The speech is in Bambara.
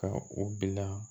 Ka u bila